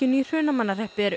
í Hrunamannahreppi er